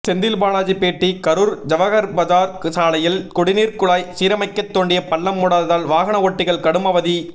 செந்தில்பாலாஜி பேட்டி கரூர் ஜவஹர்பஜார் சாலையில் குடிநீர்குழாய் சீரமைக்க தோண்டிய பள்ளம் மூடாததால் வாகனஓட்டிகள் கடும் அவதி